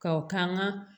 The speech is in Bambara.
Ka o k'an ka